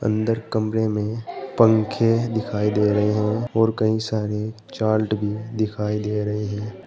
अंदर कमरे में पंखे दिखाई दे रहे हैं और कई सारे चाल्ट भी दिखाई दे रहे हैं।